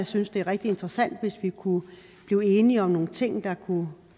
synes det er rigtig interessant hvis vi kunne blive enige om nogle ting der kunne